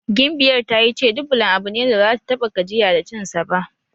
Gimbiyar ta yi ce Dublan abu ne da baza ta ta6a gajiya da cinsa ba.